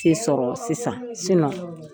ti sɔrɔ sisan